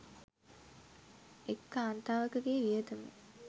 එක් කාන්තාවකගේ වියදම